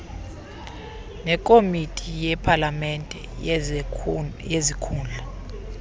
nekomiti yepalamente yezikhundla